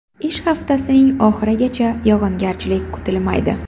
Ish haftasining oxirigacha yog‘ingarchilik kutilmaydi.